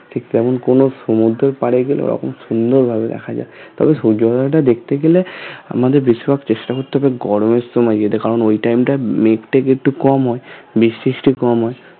ঠিক তেমন কোনো সমুদ্রের পাড়ে গেলে ঐরকম সুন্দর ভাবে দেখা যায় তবে সূর্য উদয়টা দেখতে গেলে আমাদের বেশির ভাগ চেষ্টা করতে হবে গরমের সময় যেতে কারণ ওই time টা মেঘ টেঘ একটু কম হয় বৃষ্টি তৃষ্টি কম হয়